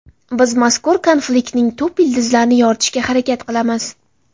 Biz mazkur konfliktning tub ildizlarini yoritishga harakat qilamiz.